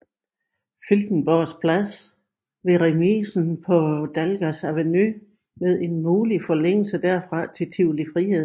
Filtenborgs Plads ved remisen på Dalgas Avenue med en mulig forlængelse derfra til Tivoli Friheden